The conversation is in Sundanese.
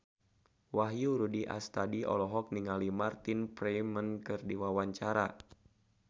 Wahyu Rudi Astadi olohok ningali Martin Freeman keur diwawancara